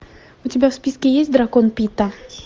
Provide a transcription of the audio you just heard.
у тебя в списке есть дракон питта